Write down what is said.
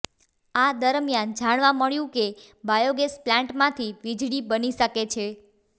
આ દરમિયાન જાણવા મળ્યું કે બાયોગેસ પ્લાન્ટમાંથી વીજળી બની શકે છે